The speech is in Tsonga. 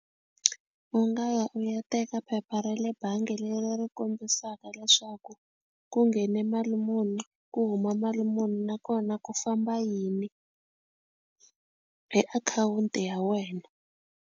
U nga ya u ya teka phepha ra le bangi leri ri kombisaka leswaku ku nghene mali muni ku huma mali muni nakona ku famba yini hi akhawunti ya wena.